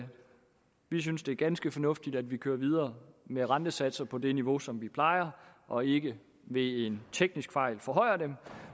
vi synes det er ganske fornuftigt at vi kører videre med rentesatser på det niveau som vi plejer og ikke ved en teknisk fejl forhøjer dem